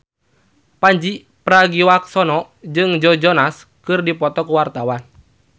Pandji Pragiwaksono jeung Joe Jonas keur dipoto ku wartawan